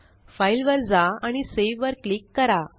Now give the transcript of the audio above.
file वर जा आणि सावे वर क्लिक करा